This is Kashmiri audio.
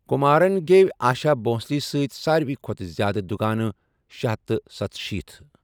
كُمارن گیوِ آشا بھونسلے سۭتۍ سارِوے كھوتہٕ زیادٕ دُگانہٕ شےہتھَ تہٕ ستشیٖتھ ۔